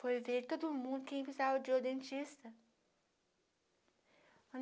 Foi ver todo mundo que precisava de um dentista.